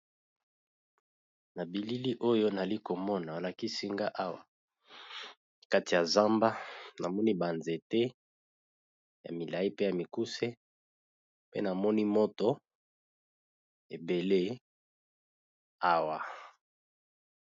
Na billi Oyo balikisi nagai Awa eaa na kati ya nzamba balikisi nagai biloko ebele pee Nazi mona moto epeli